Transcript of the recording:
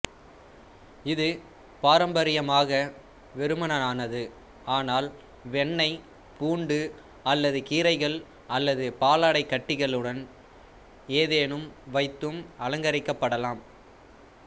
இது பாரம்பரியமாக வெறுமனானது ஆனால் வெண்ணெய் பூண்டு அல்லது கீரைகள் அல்லது பாலாடைக்கட்டியுடன் ஏதேனும் வைத்தும் அலங்கரிக்கப்படலாம்